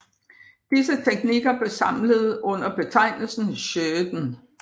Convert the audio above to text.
Disse teknikker blev samlet under betegnelsen shōden